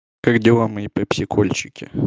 как дела мои пепсикольчики